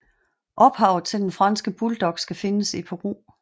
Ophavet til den franske bulldog skal findes i Peru